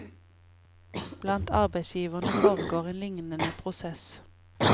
Blant arbeidsgiverne foregår en lignende prosess.